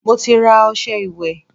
Mo ti ra ọṣẹ ìwẹ̀